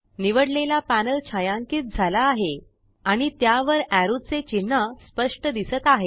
निवडलेला पॅनल छायांकि झाला आहे आणि त्यावर एरो चे चिन्ह स्पष्ट दिसत आहे